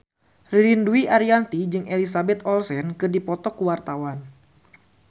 Ririn Dwi Ariyanti jeung Elizabeth Olsen keur dipoto ku wartawan